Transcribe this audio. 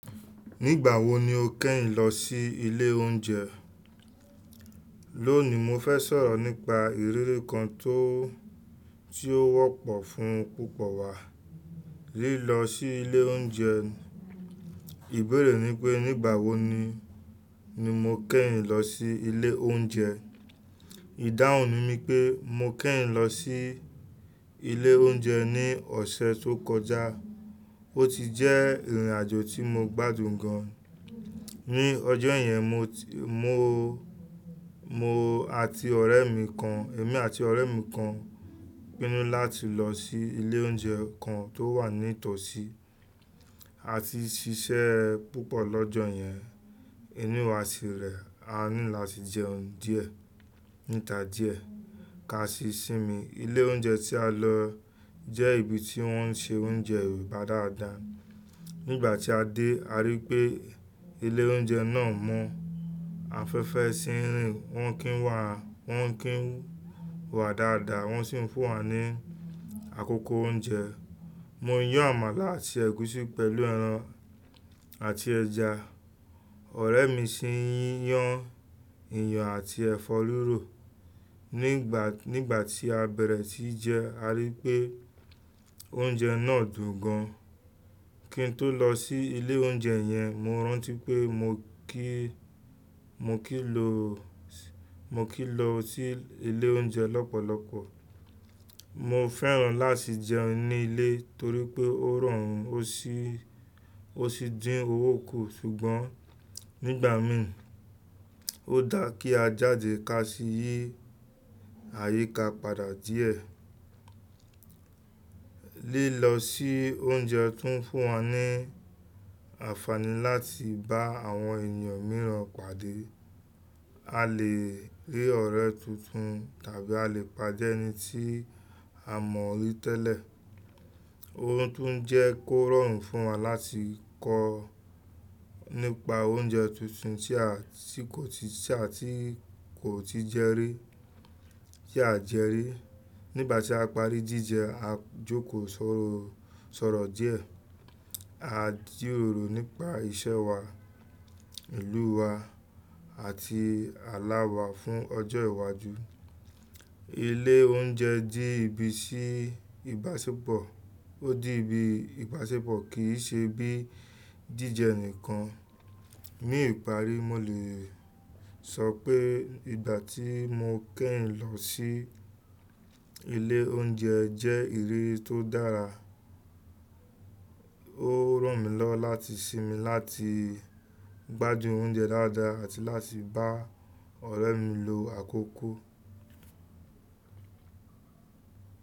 Nígbà wo ni o kẹ́yìn lọ sí ilé oúnjẹ? Lónìí, mo fẹ́ sọ̀rọ̀ nípa ìrírí kan tó, tí ó wọ́pọ̀ fún púpọ̀ wa. Lílọ sí ilé oúnjẹ. Ìbéèrè ni pé nígbà wo ni, ni mo kẹ́yìn lọ sí ilé oúnjẹ. Ìdáhùn mi ni pé mo kẹ́yìn lọ sí ilé oúnjẹ ní ọ̀sẹ̀ tó kọjá. Ó ti jẹ́ ìrìnàjò tí mo gbádùn gan. Ni ọjọ́ yẹn mo ti, mo, mo àti ọ̀rẹ́ mi kan, èmi àti ọ̀rẹ́ mi kan pinnu láti lọ sí ilé oúnjẹ kan tó wà ní ìtọ̀sí. A ti ṣiṣẹ́ púpọ̀ lọ́jọ yẹn, inú wa sì rẹ. A ní láti jẹ oúnjẹ díẹ̀, níta díẹ̀ ká sì sinmi. Ilé oúnjẹ tí a lọ jẹ́ ibi tí wọ́n ṣe oúnjẹ Yorùbá dáadáa. Nígbà tí a dé, a rí i pé ilé oúnjẹ náà mọ́. A fẹfẹ́ sí run, wọ́n kí wa, wọ́n kí wa dáadáa wọ́n sì fún wa ní àkókò oúnjẹ. Mo yán àmàlà àti ẹ̀gúsí pẹ̀lú ẹran àti ẹja. Ọ̀rẹ́ mi sì yán iyán àti ẹfọ́ rirò. Ni ìgbà, nígbà tí a bẹ̀rẹ̀ sí í jẹ, a rí i pé oúnjẹ náà dùn gan. Kí n tó lọ sí ilé oúnjẹ yẹn, mo rántí pé mo kí, mo kì í lọ, mo kì í lọ sí ilé oúnjẹ lọ́pọ̀lọpọ̀. Mo fẹ́ràn láti jẹun ní ilé torí pé ó rọrùn, ó sì, ó sì dín owó kù. Ṣùgbọ́n nígbà mìíràn, ó dáa kí a jáde ká sì yí àyíká padà díẹ̀. Lílọ sí oúnjẹ tún fún wa ní àǹfààní láti bá àwọn ènìyàn mìíràn pàdé. A lè rí ọ̀rẹ́ tuntun tàbí a lè pàdé ẹni tí a mọ̀ rí tẹ́lẹ̀. Ó tún ń jẹ́ kó rọrùn fún wa láti kọ́ nípa oúnjẹ tuntun tí a, tí kò ti sí, tí a tí kò ti jẹ rí, tí a jẹ rí. Nígbà tí a parí jíjẹ, a jókòó sọ̀rọ̀, sọ̀rọ̀ díẹ̀. A jíròrò nípa iṣẹ́ wa, ìlú wa àti àlá wa fún ọjọ́ ìwájú. Ilé oúnjẹ jẹ ibi tí ìbáṣepọ̀. Ó dí ibi ìbáṣepọ̀, kì í ṣe bí jíjẹ nìkan. Ní ìparí, mo lè sọ pé ìgbà tí mo kẹ́yìn lọ sí ilé oúnjẹ jẹ́ ìrírí tó dára. Ó ràn mí lọ́wọ́ láti sinmi láti gbádùn oúnjẹ dáadáa àti láti bá ọ̀rẹ́ mi lo àkókò.